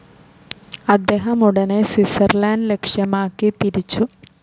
അദ്ദേഹം ഉടനെ സ്വിറ്റ്സർലൻഡ് ലക്ഷ്യമാക്കി തിരിച്ചു.